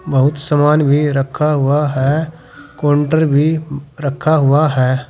बहुत सामान भी रखा हुआ है। कोंटर भी रखा हुआ है।